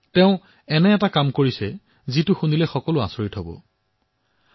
তেওঁ এনে এক আচৰিত কাম কৰিছে